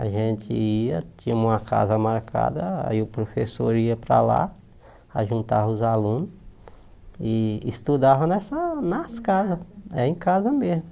A gente ia, tinha uma casa marcada, aí o professor ia para lá, a juntava os alunos e estudava nessa nas casas, é em casa mesmo.